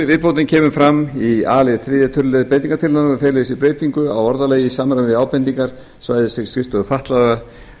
viðbótin kemur fram í a lið þriðja tölulið breytingartillagnanna og felur í sér breytingu á orðalagi í samræmi við ábendingar svæðisskrifstofu fatlaðra